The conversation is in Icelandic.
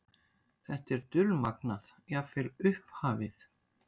Þetta er dulmagnað, jafnvel upphafið.